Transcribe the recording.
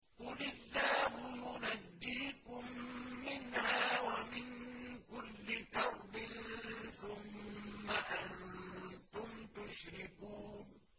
قُلِ اللَّهُ يُنَجِّيكُم مِّنْهَا وَمِن كُلِّ كَرْبٍ ثُمَّ أَنتُمْ تُشْرِكُونَ